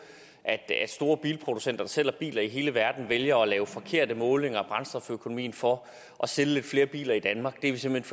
at store bilproducenter der sælger biler i hele verden vælger at lave forkerte målinger af brændstoføkonomien for at sælge lidt flere biler i danmark det er vi simpelt